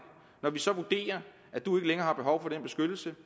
og når vi så vurderer at du ikke længere har behov for den beskyttelse